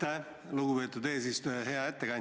Aitäh, lugupeetud eesistuja!